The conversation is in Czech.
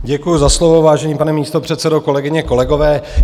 Děkuju za slovo, vážený pane místopředsedo, kolegyně, kolegové.